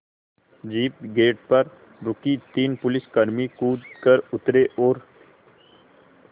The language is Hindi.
जीप गेट पर रुकी तीन पुलिसकर्मी कूद कर उतरे और